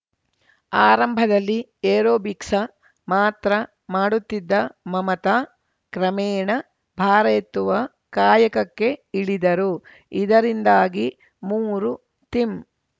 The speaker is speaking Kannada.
ಆರಂಭದಲ್ಲಿ ಏರೋಬಿಕ್ಸ ಮಾತ್ರ ಮಾಡುತ್ತಿದ್ದ ಮಮತಾ ಕ್ರಮೇಣ ಭಾರ ಎತ್ತುವ ಕಾಯಕಕ್ಕೆ ಇಳಿದರು ಇದರಿಂದಾಗಿ ಮೂರು ತಿಂ